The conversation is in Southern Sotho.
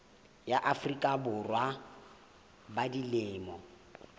ya afrika borwa ba dilemo